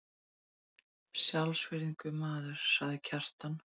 Sjálfsvirðingu, maður, sagði Kjartan.